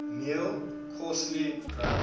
meal coarsely ground